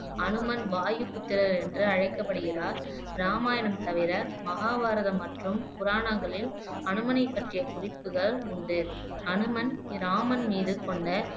ஹனுமன் வாயுபுத்திரர் என்று அழைக்கப்படுகிறார் இராமாயணம் தவிர மகாபாரதம் மற்றும் புராணங்களில் ஹனுமனை பற்றிய குறிப்புகள் உண்டு ஹனுமன் ராமன் மீது கொண்ட